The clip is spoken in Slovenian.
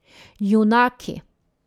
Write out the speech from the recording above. Junaki.